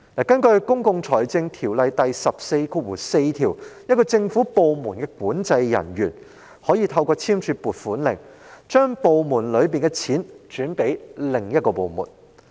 根據《公共財政條例》第144條，某政府部門的管制人員可透過簽署撥款令，將其部門轄下的款項轉撥予另一部門。